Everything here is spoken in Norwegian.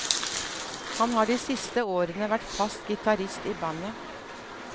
Han har de siste årene vært fast gitarist i bandet.